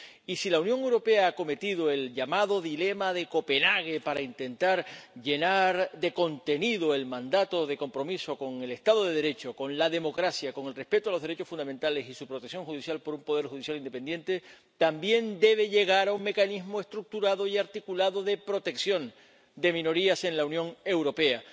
Y si la Unión Europea ha acometido el llamado dilema de Copenhague para intentar llenar de contenido el mandato de compromiso con el Estado de Derecho, con la democracia, con el respeto de los derechos fundamentales y su protección judicial por un poder judicial independiente, también debe llegar a un mecanismo estructurado y articulado de protección de minorías en la Unión Europea.